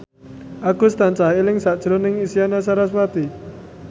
Agus tansah eling sakjroning Isyana Sarasvati